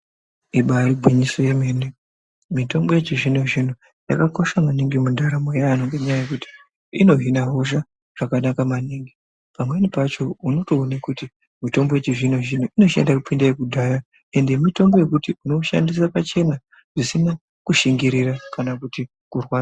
Ibari gwinyiso yemene mitombo yechizvino-zvino yakakosha maningi mundaramo yevantu ngenyaya yekuti inohina hosha zvakanaka maningi. Pamweni pacho unotoone kuti mitombo yechizvino-zvino inoshanda kupinda yekudhaya. Ende mitombo yekuti unoishandisira pachena zvisina kushingirira kana kuti kurwadza.